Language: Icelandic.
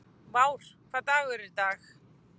Vár, hvaða dagur er í dag?